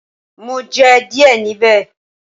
Mo jẹ díẹ̀ níbẹ̀.